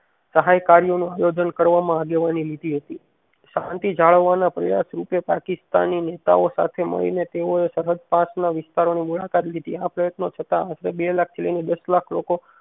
સાયકારીઓ નું આયોજન કરવામાં આગેવાની લેધી હતી શાંતિ જાળવવાના પ્રયાસ રૂપે પાકિસ્તાની નેતાઓ સાથે મળીને તેઓએ સરહદ પાર વેસ્તારો ની મુલાકાત લીધી આ પ્રયત્નો છતાં બેલાખ થી લઈ ને દસલાખ લોકો